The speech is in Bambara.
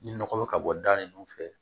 Ni nɔgɔ bɛ ka bɔ da ninnu fɛ